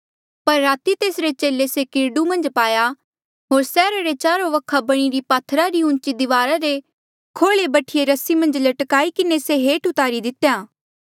पर राती तेसरे चेले से किरडू मन्झ पाया होर सैहरा रे चारो वखा बणीरी पात्थरा री उची दिवारा रे खोल्ऐ बठीये रस्सी मन्झ लटकाई किन्हें से हेठ तुआरी दितेया